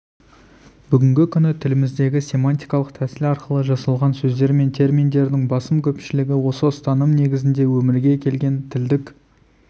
бүгінгі күні тіліміздегі семантикалық тәсіл арқылы жасалған сөздер мен терминдердің басым көпшілігі осы ұстаным негізінде өмірге келген тілдік